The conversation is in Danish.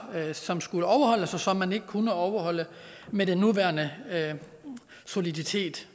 som skulle overholdes og som man ikke kunne overholde med den nuværende soliditet